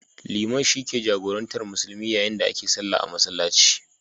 Liman shi ke jagorantar musulmi yayin da ake sallah a masallaci.